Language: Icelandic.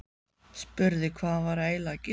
Spurði hvað hann væri eiginlega að gera.